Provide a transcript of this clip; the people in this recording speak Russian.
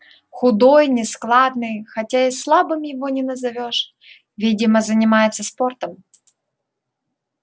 худой нескладный хотя и слабым его не назовёшь видимо занимается спортом